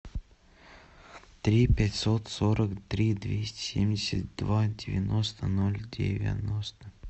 три пятьсот сорок три двести семьдесят два девяносто ноль девяносто